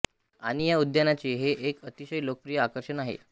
आणि या उद्यानाचे हे एका अतिशय लोकप्रिय आकर्षण आहे